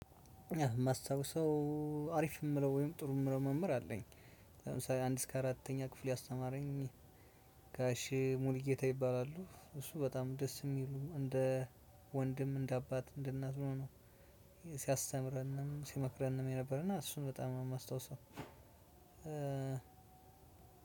የማስታውሰው አሪፍ የምለው ወይም ጥሩ የምለው መምህር አለኝ። ለምሳሌ አንድ እስከ አራተኛ ክፍል ያስተማረኝ። ጋሽ ሙሉጌታ ይባላሉ እሱ በጣም ደስ የሚሉ እንደ ወንድም እንደ አባት እንደ እናት ሆኖ። ሲያስተምረንም ሲመክረንም የነበረና እሱን በጣም ነው የማስታውሰው።